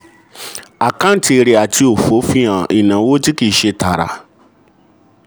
àkáǹtì èrè àti òfò fi hàn ìnáwó tí kì í ṣe tààrà.